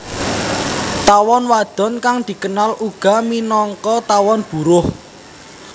Tawon wadon kang dikenal uga minangka tawon buruh